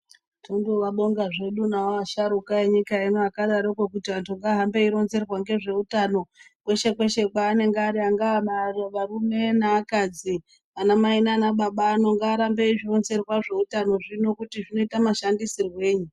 Tombovabonga zvedu navo vasharukwa venyika ino akadaroko kuti antu ngaahambe eironzerwa ngezveutano kweshe kweshe kwaanenge ari angaa arume neakadzi anamai nana baba anhu ngaarambe eizvironzerwa zveutano zvino kuti zvinoita mashandisirwei.